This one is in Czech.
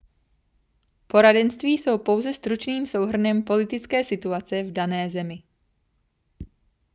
poradenství jsou pouze stručným souhrnem politické situace v dané zemi